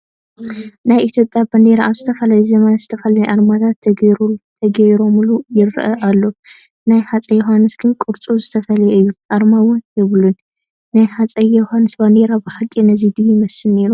ናይ ኢትዮጵያ ባንዲራ ኣብ ዝተፈላለዩ ዘመናት ዝተፈላለዩ ኣርማታት ተገይሮሙሉ ይርአ ኣሎ፡፡ ናይ ሃፀይ ዮሃንስ ግን ቅርፁ ዝተፈለየ እዩ፡፡ ኣርማ እውን የብሉን፡፡ ናይ ሃፀይ ዮሃንስ ባንዴራ ብሓቂ ነዚ ድዮ ይመስል ነይሩ?